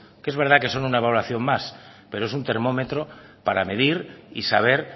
que es verdad que es una valoración más pero es un termómetro para medir y saber